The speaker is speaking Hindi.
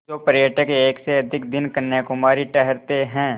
जो पर्यटक एक से अधिक दिन कन्याकुमारी ठहरते हैं